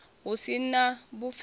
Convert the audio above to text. hu si na na vhupfelo